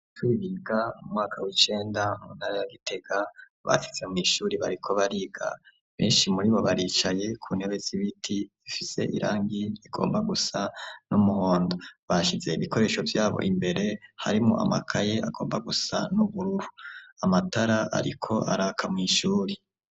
Abanyeshuri biga mu mwaka w'icenda mu ntara ya Gitege bashitse mw'ishuri bariko bariga beshi muribo baricaye mu ntebe z'ibiti zifise irangi rigomba gusa n'umuhondo bashize ibikoresho vyabo imbere harimwo amakaye agomba gusa n'ubururu amatara ariko araka mw'ishuri.